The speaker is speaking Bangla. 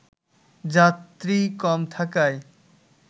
যাত্রী কম থাকায়